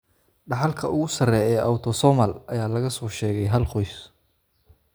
Dhaxalka ugu sarreeya ee Autosomal ayaa laga soo sheegay hal qoys.